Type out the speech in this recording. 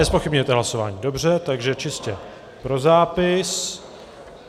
Nezpochybňujete hlasování, dobře, takže čistě pro zápis.